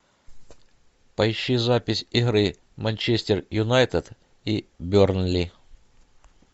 поищи запись игры манчестер юнайтед и бернли